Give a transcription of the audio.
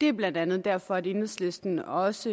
det er blandt andet derfor at enhedslisten også